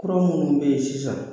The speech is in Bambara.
Kura minnu bɛ yen sisan